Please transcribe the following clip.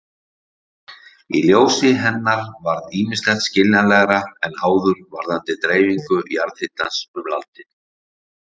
Í ljósi hennar varð ýmislegt skiljanlegra en áður varðandi dreifingu jarðhitans um landið.